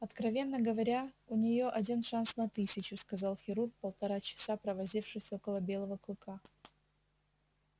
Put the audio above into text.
откровенно говоря у неё один шанс на тысячу сказал хирург полтора часа провозившись около белого клыка